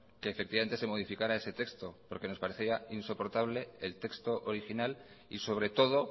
que efectivamente se modificara ese texto porque nos parecía insoportable el texto original y sobre todo